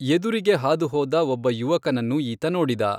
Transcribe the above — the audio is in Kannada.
ಎದುರಿಗೆ ಹಾದು ಹೋದ ಒಬ್ಬ ಯುವಕನನ್ನು ಈತ ನೋಡಿದ.